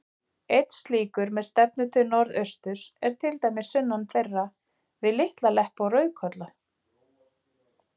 Einn slíkur, með stefnu til norðausturs, er til dæmis sunnan þeirra, við Litla-Leppi og Rauðkolla.